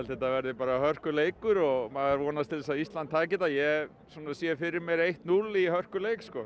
þetta verði bara hörkuleikur og maður vonast til að Ísland taki þetta ég svona sé fyrir mér eitt til núll í hörkuleik sko